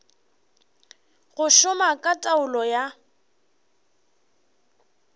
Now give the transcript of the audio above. go šoma ka taolo ya